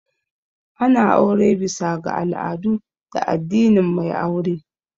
Ana aure bisa ga al'adu da addinin mai aure